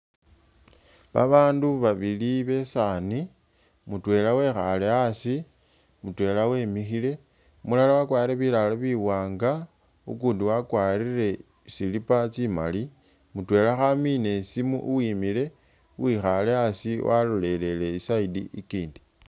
Abandu babili besaani mutwela wekhaale asi, mutwela wamikhile. Umulala wakwarire bilaalo biwaanga ukundi wakwarire slipper tsimali. Mutwela khamina isimu uwimile, uwikhaale asi walolelele i'side iyi ikindi.